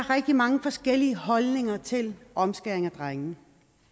rigtig mange forskellige holdninger til omskæring af drenge